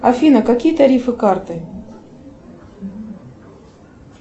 афина какие тарифы карты